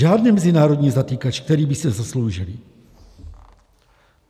Žádný mezinárodní zatykač, který by si zasloužili.